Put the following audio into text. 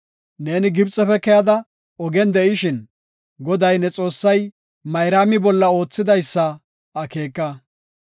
Neeni Gibxefe keyada ogen de7ishin, Goday ne Xoossay Mayraami bolla oothidaysa akeeka.